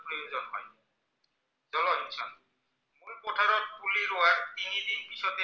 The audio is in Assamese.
ইহঁতক পুলি ৰোৱাৰ তিনিদিন পিছতে